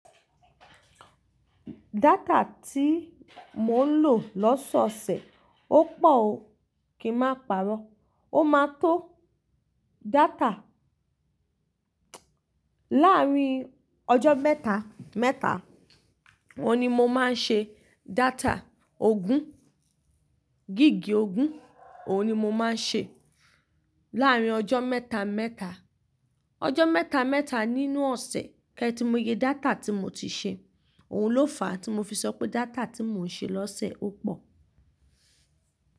Data tí mo ń lò lọ́sọ̀ọ̀sẹ̀, ó pọ̀ o, kí n máa pàrọ̀. Ó máa tó data láàárín ọjọ́ mẹ́ta, mẹ́ta. Óun ni mo máa ń ṣe data ogún, gíga ogún, òun ni mo máa ń ṣe láàárín ọjọ́ mẹ́ta, mẹ́ta. Ọjọ́ mẹ́ta, mẹ́ta nínú ọ̀sẹ̀ kí ẹ ti mọ iye data tí mo ti ṣe. Òhun ló fà á tí mo fi sọ pé data tí mò ń ṣe lọ́sẹ̀ ó pọ̀